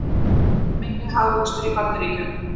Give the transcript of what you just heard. Minni hagvöxtur í Bandaríkjunum